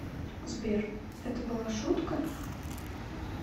сбер это была шутка